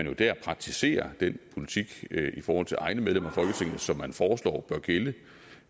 jo dér praktiserer den politik i forhold til egne medlemmer af folketinget som man foreslår bør gælde